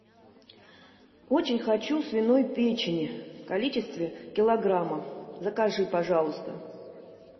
очень хочу свиной печени в количестве килограмма закажи пожалуйста